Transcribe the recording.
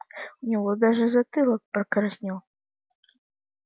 у него даже затылок покраснел